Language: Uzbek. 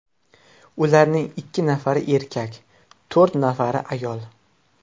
Ularning ikki nafari erkak, to‘rt nafari ayol.